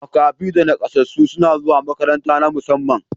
Makafi da nakasassu suna zuwa makarantu na musamman.